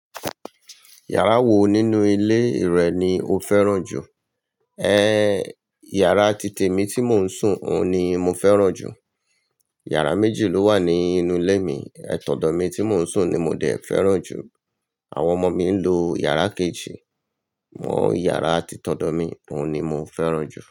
Yàrá wo nínú ilé rẹ ni o fẹ́ràn jù? Yàrá títè mi tí mò ń sùn, òun ni mo fẹ́ràn jù. Yàrá méjì ló wà ní inú ilé mi, tọ̀dọ̀ mi tí mò ń sùn ni mo dé fẹ́ràn jù. Àwọn ọmọ mi ń lo yàrá kejì, mo yàrá ti tọ̀dọ̀ mi, òun ni mo fẹ́ràn jù.